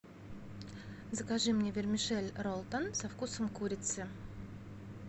закажи мне вермишель ролтон со вкусом курицы